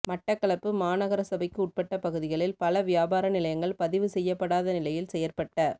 மட்டக்களப்பு மாநகரசபைக்குட்பட்ட பகுதிகளில் பல வியாபார நிலையங்கள் பதிவுசெய்யப்படாத நிலையில் செயற்பட்ட